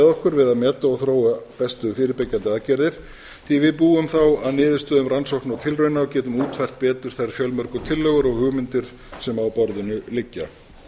okkur við að meta og þróa bestu fyrirbyggjandi aðgerðir því við búum þá að niðurstöðum rannsókna og tilrauna og getum útfært betur þær fjölmörgu tillögur og hugmyndir sem á borðinu liggja